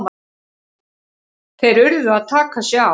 Þeir urðu að taka sig á!